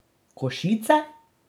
Košice?